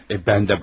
Mən də xanım.